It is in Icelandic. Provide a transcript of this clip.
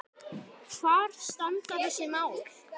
Hvar standa þessi mál?